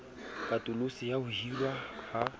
katoloso ya ho hirwa ha